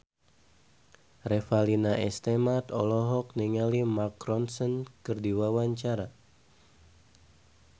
Revalina S. Temat olohok ningali Mark Ronson keur diwawancara